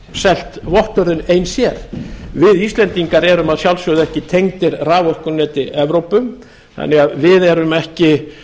selt vottorðin ein sér við íslendingar erum að sjálfsögðu ekki tengdir raforkuneti evrópu þannig að við erum ekki